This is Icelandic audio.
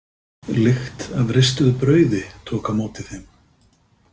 Lykt af ristuðu brauði tók á móti þeim.